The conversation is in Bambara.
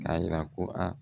A yira ko a